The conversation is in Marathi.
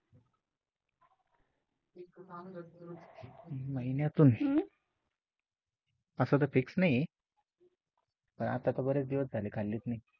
महिन्यातून हम्म असं तर फिक्स नाही, पण बरेच दिवस झाले खाल्ली नाही.